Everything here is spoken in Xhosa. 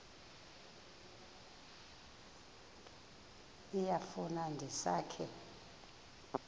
iyafu ndisa ke